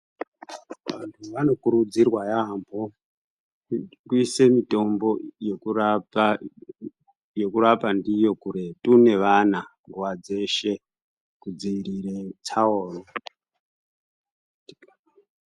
Vantu vanokurudzirwa yambo, kuyise mitombo yekurapa ndiyo kuretu nevana nguwa dzeshe kudzingire tsaona.